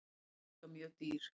Hann er líka mjög dýr.